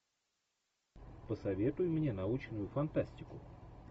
посоветуй мне научную фантастику